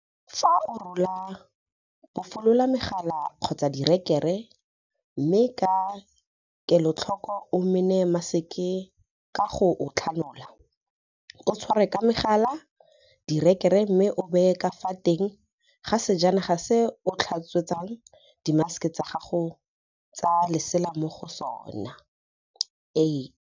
Fa o o rola, bofolola megala kgotsa direkere, mme ka kelotlhoko o mene maseke ka go o tlhanola, o tshware ka megala-direkere mme o o baye ka fa teng ga sejana se o tlhatswetsang dimaseke tsa gago tsa lesela mo go sona.8.